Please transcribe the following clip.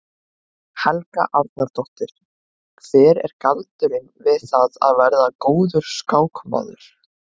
Helga Arnardóttir: Hver er galdurinn við það að vera góður skákmaður?